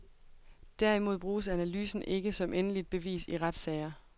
Derimod bruges analysen ikke som endeligt bevis i retssager.